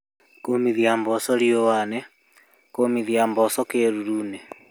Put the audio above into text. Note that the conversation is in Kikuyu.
kũũmithia mboco riũanĩ, kũũmithia mboco kĩĩruruinĩ